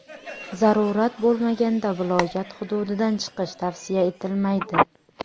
Zarurat bo‘lmaganda viloyat hududidan chiqish tavsiya etilmaydi.